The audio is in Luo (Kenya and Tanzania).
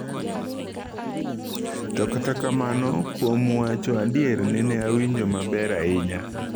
To kata kamano kwom wacho adier neneawinjo maber ahinya."